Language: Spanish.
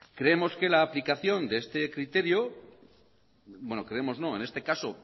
creemos que la aplicación de este criterio bueno creemos no en este caso